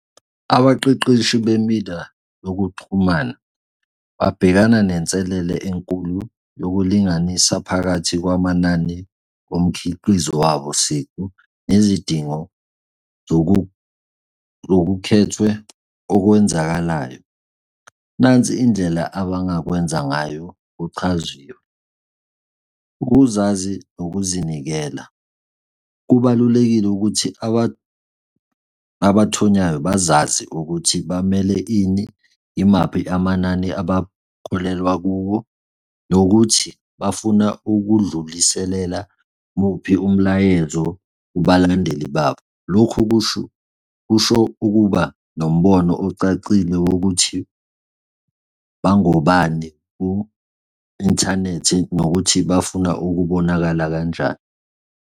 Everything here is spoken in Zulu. Abaqeqeshi bemindlalo yokuxhumana babhekana nenselele enkulu yokulinganisa phakathi kwamanani omkhiqizo wabo siqu nezidingo zokukhethwe okwenzakalayo. Nansi indlela abangakwenza ngayo kuchaziwe. Ukuzazi nokuzinikela. Kubalulekile ukuthi abathonyayo bazazi ukuthi bamele ini? Imaphi amanani abakholelwa kuwo? Nokuthi bafuna ukudluliselela muphi umlayezo kubalandeli babo? Lokhu kusho, kusho ukuba nombono ocacile wokuthi bangobani ku-inthanethi? Nokuthi bafuna ukubonakala kanjani?